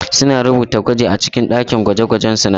Suna rubuta gwaji a cikin ɗakin gwaje-gwajen sunadarai.